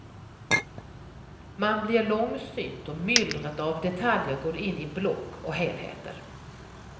Man blir långsynt och myllret av detaljer går in i block och helheter.